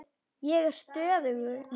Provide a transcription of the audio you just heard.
Ég er stöðug núna.